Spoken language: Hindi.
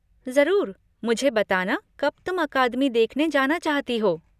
ज़रूर, मुझे बताना कब तुम अकादमी देखने जाना चाहती हो।